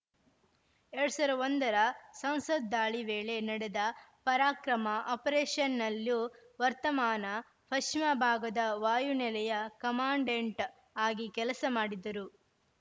ಎರಡ್ ಸಾವಿರದ ಒಂದರ ಸಂಸತ್‌ ದಾಳಿ ವೇಳೆ ನಡೆದ ಪರಾಕ್ರಮ ಆಪರೇಷನ್‌ನಲ್ಲೂ ವರ್ತಮಾನ ಪಶ್ಚಿಮ ಭಾಗದ ವಾಯುನೆಲೆಯ ಕಮಾಂಡೆಂಟ್‌ ಆಗಿ ಕೆಲಸ ಮಾಡಿದ್ದರು